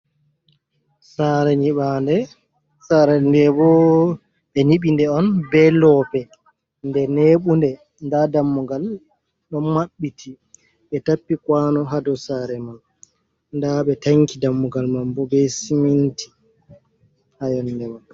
Saare nyiɓaande, saare ndee bo ɓe nyiɓi nde on bee loope, nde neebunde, ndaa dammugal ɗon maɓɓiti ɓe tappi "kwaano" hado saare man ndaa ɓe tanki dammugal man bo bee siminti ha yonnde man.